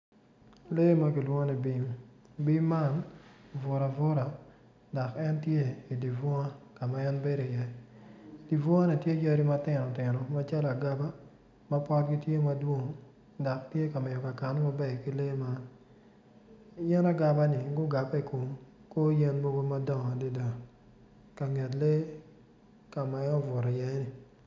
Lee man kilwongo ni bim kono tye poto anyogi, anyogi man kono odongo mabeco adada pot anyogi man kono tye rangi ma alum alum anyogi yen agaba i kor yen madongo adada ka lee tye iye ni.